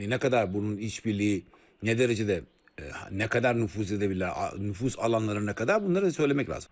Yəni nə qədər bunun iç birliyi, nə dərəcədə, nə qədər nüfuz edə bilirlər, nüfuz alanları nə qədər, bunları söyləmək lazım.